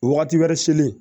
Wagati wɛrɛ selen